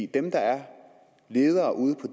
dem der er ledere ude på